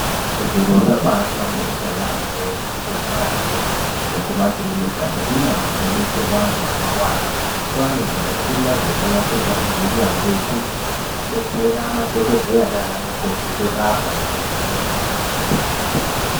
Zviro zvabaa hlamburika yamho kuzvi bhedhlera yo nekuma kirinika nekundau dzino betserwa antu anorwara kwana zvimishina zvakanasirwa ngeunyanzvi ukurutu zvekubetsera madhokodheya nana mukoti kurapa ngekuvheneka.